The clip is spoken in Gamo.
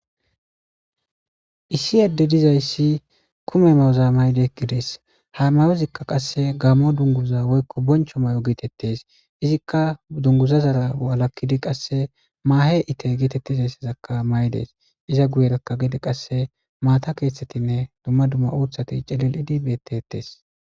Issi adey dizaysi kume mayo mayidi eqides ha mayozika gammo dungiza woykon boncho mayo getetes izzika ha dunguza zara walakidi mahe itte getetizaysa mayides iza guyeraka gede qase matta kethatine duma duma uthati cililidi betetes